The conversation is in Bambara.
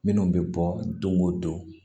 Minnu bɛ bɔ don o don